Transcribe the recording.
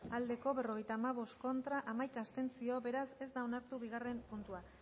aldekoa berrogeita hamabost contra hamaika abstentzio beraz ez da onartu bigarren puntua